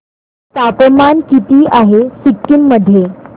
तापमान किती आहे सिक्किम मध्ये